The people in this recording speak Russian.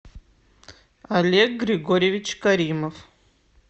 олег григорьевич каримов